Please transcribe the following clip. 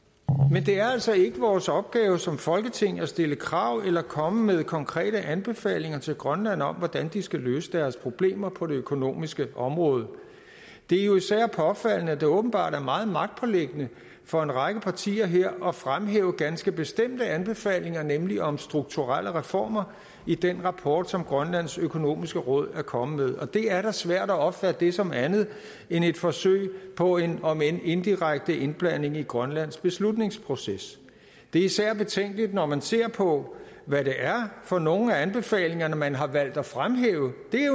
men det er altså ikke vores opgave som folketing at stille krav eller komme med konkrete anbefalinger til grønland om hvordan de skal løse deres problemer på det økonomiske område det er jo især påfaldende at det åbenbart er meget magtpåliggende for en række partier her at fremhæve ganske bestemte anbefalinger nemlig om strukturelle reformer i den rapport som grønlands økonomiske råd er kommet med og det er da svært at opfatte det som andet end et forsøg på en om end indirekte indblanding i grønlands beslutningsproces det er især betænkeligt når man ser på hvad det er for nogle af anbefalingerne man har valgt at fremhæve det